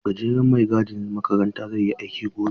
Gajeren mai gadin makaranta zai yi aiki gobe.